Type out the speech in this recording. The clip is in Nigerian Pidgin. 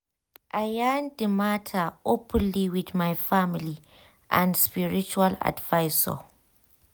i yarn d matter openly with my family and spiritual advisors.